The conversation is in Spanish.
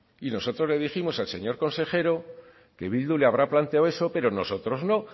y nosotros le dijimos al señor consejero que bildu le habrá planteado eso pero nosotros no